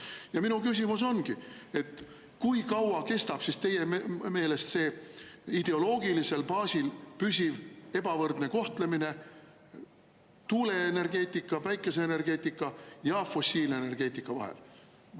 Ja minu küsimus ongi: kui kaua kestab siis teie meelest see ideoloogilisel baasil püsiv ebavõrdne kohtlemine tuuleenergeetika, päikeseenergeetika ja fossiilenergeetika vahel?